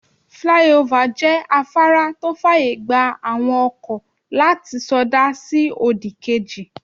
Flyover jẹ́ afárá tó fàyè gba àwọn ọkọ̀ láti sọdá lọ sí òdì kejì.